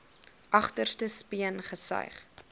agterste speen gesuig